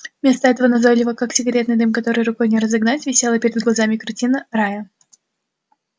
вместо этого назойливо как сигаретный дым который рукой не разогнать висела перед глазами картина рая